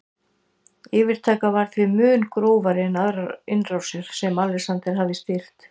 Yfirtakan var því mun grófari en aðrar innrásir sem Alexander hafði stýrt.